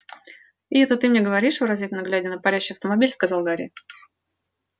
и это ты мне говоришь выразительно глядя на парящий автомобиль сказал гарри